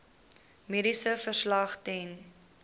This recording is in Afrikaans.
mediese verslag ten